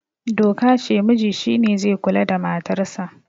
doka ce muji shi ne zai kula da matarsa